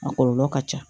A kɔlɔlɔ ka ca